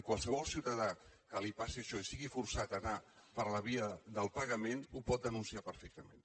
i qualsevol ciutadà a qui li passi això i que sigui forçat a anar per la via del pagament ho pot denunciar perfectament